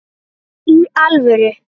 Í alvöru!